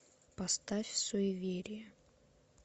поставь суеверие